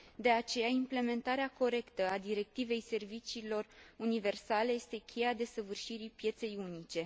De aceea, implementarea corectă a Directivei serviciilor universale este cheia desăvârșirii pieței unice.